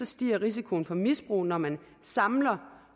stiger risikoen for misbrug når man samler